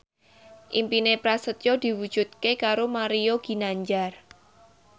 impine Prasetyo diwujudke karo Mario Ginanjar